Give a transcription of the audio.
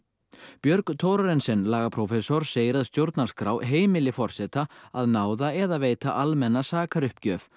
Björg Thorarensen lagaprófessor segir að stjórnarskrá heimili forseta að náða eða veita almenna sakaruppgjöf